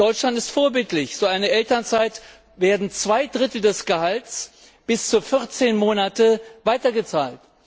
Deutschland ist vorbildlich In einer Elternzeit werden zwei Drittel des Gehalts bis zu 14 Monate weitergezahlt.